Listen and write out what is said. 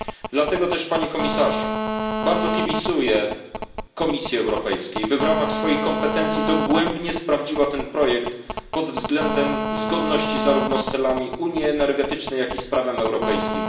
Dlatego też bardzo kibicuję Komisji Europejskiej by w ramach swoich kompetencji dogłębnie sprawdziła ten projekt pod względem zgodności zarówno z celami Unii energetycznej jak i z prawem europejskim.